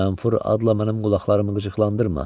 Mənfur adla mənim qulaqlarımı qıcıqlandırma.